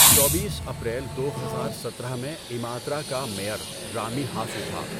چوبیس اپریل دو ہزار سترہ میں ایماترا کا میئر رامی ہاسو تھا۔